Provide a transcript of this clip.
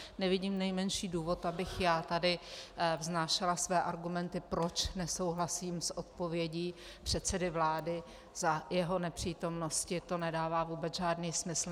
Nevidím nejmenší důvod, abych já tady vznášela své argumenty, proč nesouhlasím s odpovědí předsedy vlády, za jeho nepřítomnosti, to nedává vůbec žádný smysl.